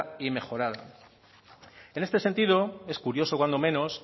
y mejorada en este sentido es curioso cuando menos